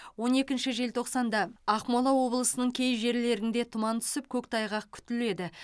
он екінші желтоқсанда ақмола облысының кей жерлерінде тұман түсіп көктайғақ күтіледі